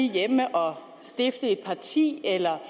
hjemme og stifte et parti eller